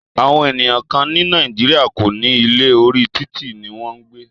Àwọn ènìyàn kán ní Nàìjíríà kò ní ilé, orí títì ní wọn ń gbé.